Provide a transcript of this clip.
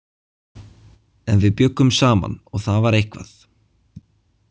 En við bjuggum saman og það var eitthvað.